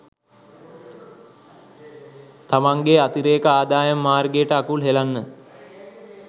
තමන්ගේ අතිරේක අදායම් මාර්ගයට අකුල් හෙලන්න